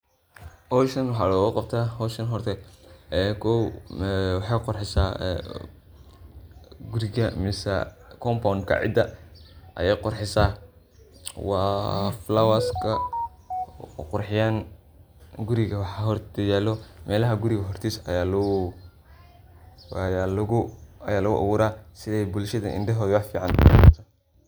Howshan waxaa lagubtaa howshan horta ee kow waxay qurxisa guriga mise compound ka cida aye qurxisa waa flowers ka qurxiyaan waxa hor yaalo melaha guriga hortiisa aya lagu abuura sidey bulshada indhahooda wax fican